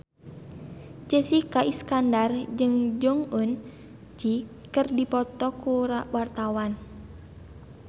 Jessica Iskandar jeung Jong Eun Ji keur dipoto ku wartawan